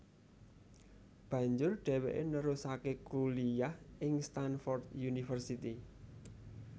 Banjur dheweke nerusake kuliyah ing Stanford University